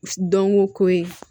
Dɔnko ko ye